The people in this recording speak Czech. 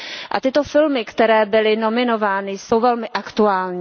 A tyto filmy, které byly nominovány, jsou velmi aktuální.